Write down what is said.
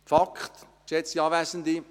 Fakt ist, geschätzte Anwesende: